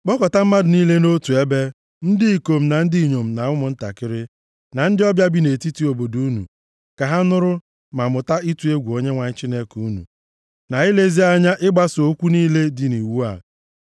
Kpọkọta mmadụ niile nʼotu ebe, ndị ikom, na ndị inyom na ụmụntakịrị, + 31:12 Ọ bụ naanị na mmemme nke a, ka a na-akpọkọta ndị inyom na ụmụntakịrị, ka ha bịa nụrụ ihe a na-agụpụta site nʼakwụkwọ iwu ahụ. na ndị ọbịa bi nʼetiti obodo unu, ka ha nụrụ, ma mụta ịtụ egwu Onyenwe anyị Chineke unu na ilezi anya ịgbaso okwu niile dị nʼiwu a.